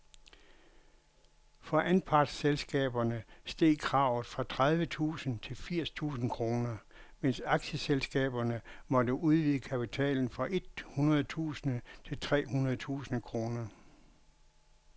For anpartsselskaberne steg kravet fra tredive tusind til firs tusind kroner, mens aktieselskaberne måtte udvide kapitalen fra et hundrede tusind til tre hundrede tusind kroner.